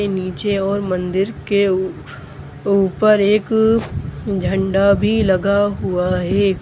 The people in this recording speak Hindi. के नीचे और मंदिर के ऊ ऊपर एक झंडा भी लगा हुआ है।